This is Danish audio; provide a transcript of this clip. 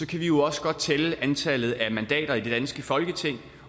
kan vi jo også godt tælle antallet af mandater i det danske folketing